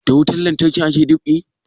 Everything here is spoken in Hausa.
Da wutan lantarki ake dab'i